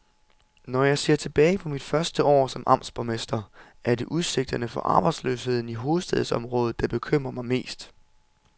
Når jeg ser tilbage på mit første år som amtsborgmester, er det udsigterne for arbejdsløsheden i hovedstadsområdet, der bekymrer mig mest.